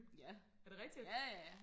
ja ja ja